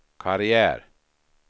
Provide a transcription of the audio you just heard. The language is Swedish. karriär